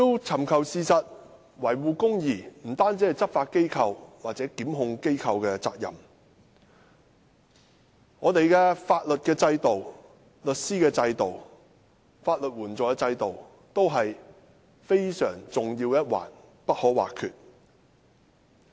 尋求事實及維護公義不單是執法或檢控機構的責任，香港的法律制度、律師制度及法律援助制度亦是非常重要的一環，不可或缺。